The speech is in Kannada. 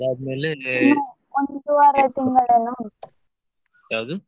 ಅದಾದ್ಮೇಲೆ ಯಾವ್ದು?